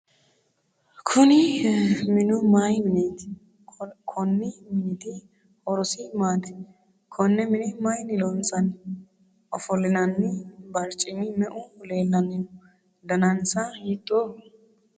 kuni minu mayi mineeti? konni miniti horosi maati? konne mine mayiinni loonsanni? ofolinanni barchimi meu leellanni no? danasina hiittooho ?